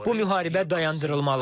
Bu müharibə dayandırılmalıdır.